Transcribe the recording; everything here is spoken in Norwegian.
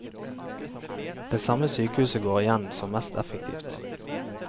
Det samme sykehuset går igjen som mest effektivt.